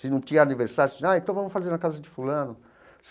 Se não tinha aniversário, era assim ah então vamos fazer na casa de fulano.